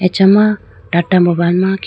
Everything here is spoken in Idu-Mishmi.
acha ma tata mobile ma kiku.